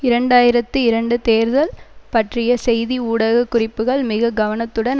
இரண்டு ஆயிரத்தி இரண்டு தேர்தல் பற்றிய செய்தி ஊடக குறிப்புக்கள் மிக கவனத்துடன்